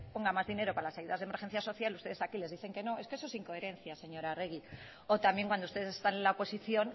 ponga más dinero para las ayudas de emergencia social ustedes aquí le dicen que no es que eso es incoherencia señora arregi o también cuando ustedes están en la oposición